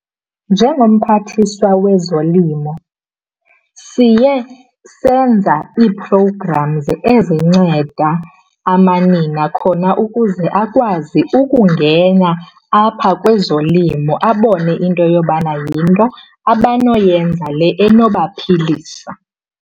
Njengomphathiswa wezolimo siye senza ii-programs ezinceda amanina khona ukuze akwazi ukungena apha kwezolimo, abone into yobana yinto abanoyenza le enoba philisa.